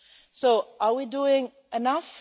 today. So are we doing enough?